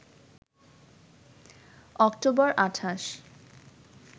October ২৮